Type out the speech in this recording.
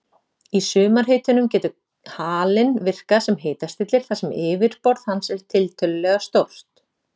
Í sumarhitunum getur halinn virkað sem hitastillir þar sem yfirborð hans er tiltölulega stórt.